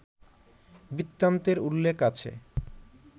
বৃত্তান্তের উল্লেখ আছে